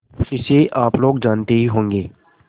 इसे आप लोग जानते ही होंगे